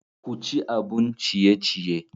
Ku ci abun ciye-ciye.